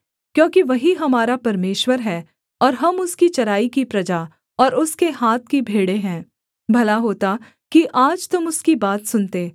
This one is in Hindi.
क्योंकि वही हमारा परमेश्वर है और हम उसकी चराई की प्रजा और उसके हाथ की भेड़ें हैं भला होता कि आज तुम उसकी बात सुनते